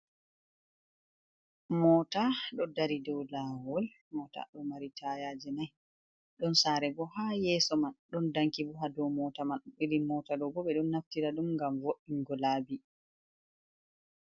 Moota ɗo dari dow laawol, moota ɗo mari tayaaje nayi .Ɗon saare bo haa yeeso man ,ɗon danki bo haa dow moota man, iri moota ɗo bo ɓe ɗon naftira ɗum ngam vo''ingo laabi.